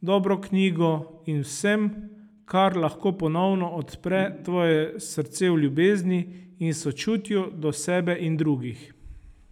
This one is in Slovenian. dobro knjigo in z vsem, kar lahko ponovno odpre tvoje srce v ljubezni in sočutju do sebe in drugih.